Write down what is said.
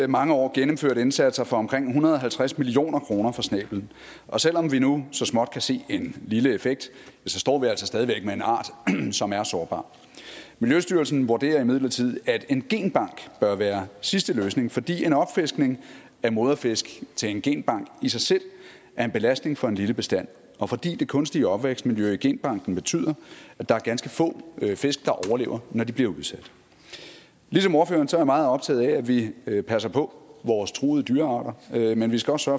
mange år gennemført indsatser for omkring en hundrede og halvtreds million kroner for snæblen og selv om vi nu så småt kan se en lille effekt står vi altså stadig væk med en art som er sårbar miljøstyrelsen vurderer imidlertid at en genbank bør være sidste løsning fordi en opfiskning af moderfisk til en genbank i sig selv er en belastning for en lille bestand og fordi det kunstige opvækstmiljø i genbanken betyder at der er ganske få fisk der overlever når de bliver udsat ligesom ordføreren er jeg meget optaget af at vi passer på vores truede dyrearter men vi skal også